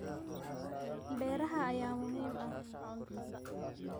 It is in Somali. Beeraha ayaa muhiim u ah cuntada.